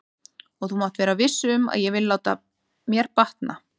Og þú mátt vera viss um að ég vil láta mér batna.